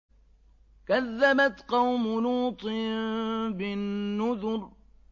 كَذَّبَتْ قَوْمُ لُوطٍ بِالنُّذُرِ